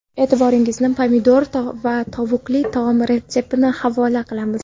E’tiboringizga pomidor va tovuqli taom retseptini havola qilamiz.